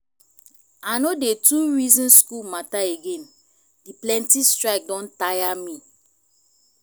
i no dey too reason school matter again the plenty strike don tire me